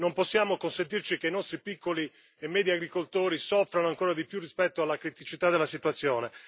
Non possiamo consentire che i nostri piccoli e medi agricoltori soffrano ancora di più rispetto alla criticità della situazione.